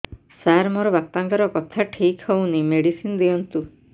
ସାର ମୋର ବାପାଙ୍କର କଥା ଠିକ ହଉନି ମେଡିସିନ ଦିଅନ୍ତୁ